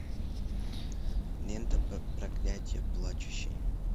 лента проклятие плачущей